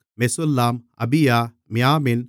மெசுல்லாம் அபியா மியாமின்